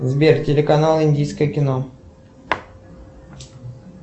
сбер телеканал индийское кино